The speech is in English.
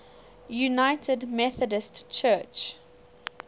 united methodist church